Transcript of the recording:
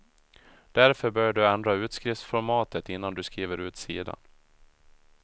Därför bör du ändra utskriftsformatet innan du skriver ut sidan.